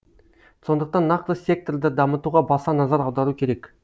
сондықтан нақты секторды дамытуға баса назар аудару керек